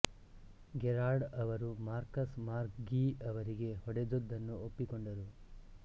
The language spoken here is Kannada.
ಗೆರಾರ್ಡ್ ಅವರು ಮಾರ್ಕಸ್ ಮಾಕ್ ಗೀ ಅವರಿಗೆ ಹೊಡೆದದ್ದನ್ನು ಒಪ್ಪಿಕೊಂಡರು